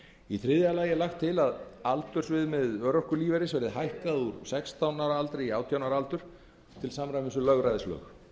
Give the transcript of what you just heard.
í þriðja lagi er lagt til að aldursviðmið örorkulífeyris verði hækkað úr sextán ára aldri í átján ára aldur til samræmis við lögræðislög